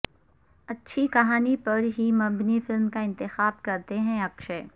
اچھی کہانی پر ہی مبنی فلم کا انتخاب کرتے ہیں اکشے